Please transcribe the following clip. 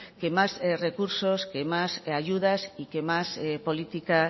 que más recursos que más ayudas y que más política